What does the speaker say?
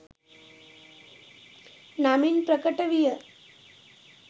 නමින් ප්‍රකට විය.